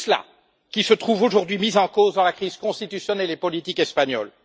C'est tout cela qui se trouve aujourd'hui mis en cause dans la crise constitutionnelle et politique espagnole.